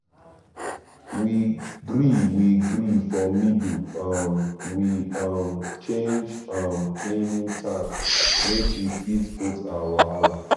we gree we gree for middle um we um change um cleaning time make e fit both our wahala